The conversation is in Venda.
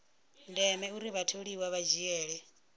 ndeme uri vhatholiwa vha dzhiele